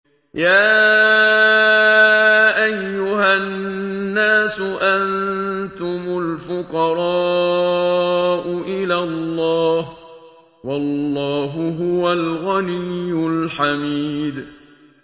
۞ يَا أَيُّهَا النَّاسُ أَنتُمُ الْفُقَرَاءُ إِلَى اللَّهِ ۖ وَاللَّهُ هُوَ الْغَنِيُّ الْحَمِيدُ